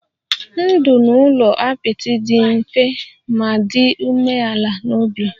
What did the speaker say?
Ndụ n'ụlọ apịtị dị mfe ma dị umeala n'obi